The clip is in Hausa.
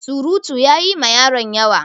Surutu ya yi ma yaron yawa.